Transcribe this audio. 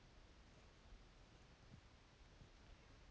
кім болушы ед рысқұл бұзық та деп күңк етіп сақан шыға берді